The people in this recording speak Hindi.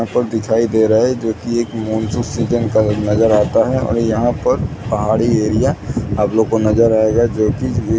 यहाँ पर दिखाई दे रहा है जो की एक नज़र आता है और यहाँ पर पहाड़ी एरिया आप लोग को नज़र आएगा जो की--